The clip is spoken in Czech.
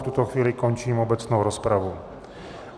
V tuto chvíli končím obecnou rozpravu.